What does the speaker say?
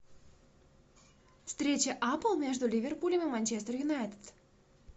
встреча апл между ливерпулем и манчестер юнайтед